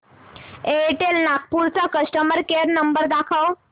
Airtel Nagpur चा customer care number दाखव